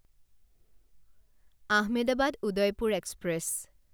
Ahmedabad Udaipur express